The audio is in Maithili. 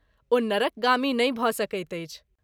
ओ नरकगामी नहि भ‘ सकैत अछि।